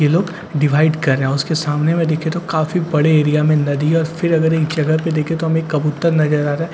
ये लोग डिवाइड कर रहा उसके सामने में दिखे तो काफी बड़े एरिया में नदी और फिर अगर एक जगह पे देखे तो हमें कबूतर नजर आ रहा--